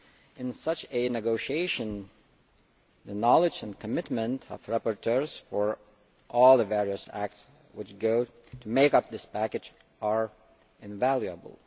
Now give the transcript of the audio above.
In such a negotiation the knowledge and commitment of rapporteurs for all the various acts which go to make up this package are invaluable.